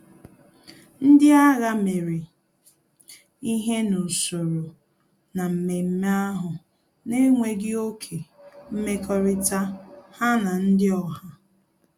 Ndị agha mere ihe n'usoro na mmemme ahụ na enweghị oké mmekọrịta ha na ndị oha